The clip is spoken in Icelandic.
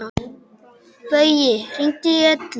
Baui, hringdu í Ellu.